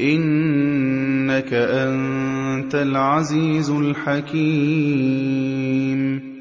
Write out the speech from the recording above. إِنَّكَ أَنتَ الْعَزِيزُ الْحَكِيمُ